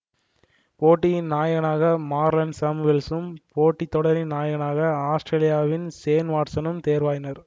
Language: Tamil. போட்டியின் நாயகனாக மார்லன் சாமுவேல்சும் போட்டி தொடரின் நாயகனாக ஆத்திரேலியாவின் ஷேன் வொட்சனும் தெர்வாயினர்